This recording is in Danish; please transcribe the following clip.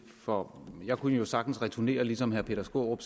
for jeg kunne jo sagtens returnere og ligesom herre peter skaarup